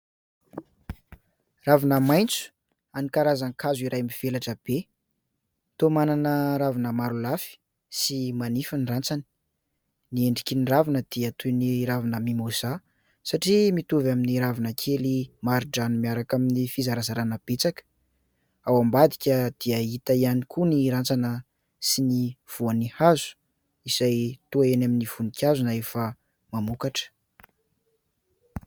Ravina maitso an'ny karazan-kazo iray mivelatra be, toa manana ravina maro lafy sy manify ny rantsany, ny endriky ny ravina dia toy ny ravina mimoza satria mitovy amin'ny ravina kely marindrano miaraka amin'ny fizarazarana betsaka, ao ambadika dia hita ihany koa ny rantsana sy ny voan'ny hazo izay toa eny amin'ny voninkazo na efa mamokatra.